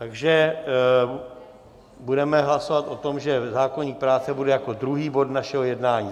Takže budeme hlasovat o tom, že zákoník práce bude jako druhý bod našeho jednání.